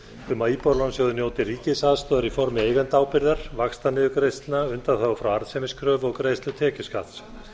um að íbúðalánasjóður njóti ríkisaðstoðar í formi eigendaábyrgðar vaxtaniðurgreiðslna undanþágu frá arðsemiskröfu og greiðslu tekjuskatts